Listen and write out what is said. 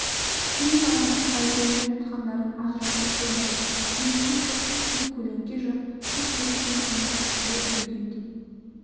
кең даланың қай жерінде жатқандарын ажыратып болмайды не су жоқ не көлеңке жоқ тек көріктен аңызақ леп үргендей